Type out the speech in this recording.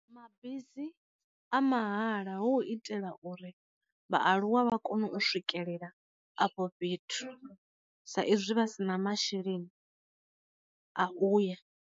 Mabisi a mahala hu u itela uri vhaaluwa vha kone u swikelela afho fhethu, sa izwi vha si na masheleni a uya.